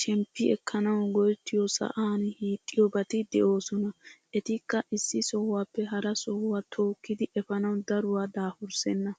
shemppi ekkanawu go"ettiyo sa'an hiixxiyobati de'oosona. Etikka Issi sohuwappe hara sohuwa tokkiddi effanawu daruwa daafuriseena.